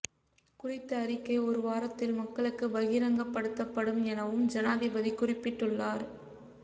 குறித்த அறிக்கை ஒரு வாரத்தில் மக்களுக்கு பகிரங்கப்படுத்தப்படும் எனவும் ஜனாதிபதி குறிப்பிட்டுள்ளார்